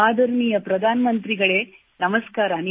ಆದರಣೀಯ ಪ್ರಧಾನಮಂತ್ರಿಗಳೇ ನಮಸ್ಕಾರ